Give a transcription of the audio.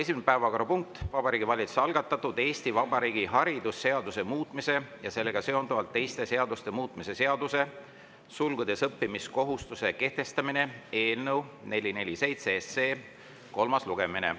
Esimene päevakorrapunkt on Vabariigi Valitsuse algatatud Eesti Vabariigi haridusseaduse muutmise ja sellega seonduvalt teiste seaduste muutmise seaduse eelnõu 447 kolmas lugemine.